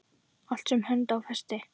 Allt sem hönd á festi.